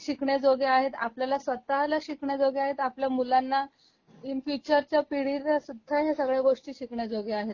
शिकण्याजोग्या आहेत आपल्याला स्वत:ला शिकण्याजोग्या आहेत आपल्या मुलांना इन फ्युचर च्या पिढीला सुद्धा ह्या सगळ्या गोष्टी शिकण्याजोग्या आहेत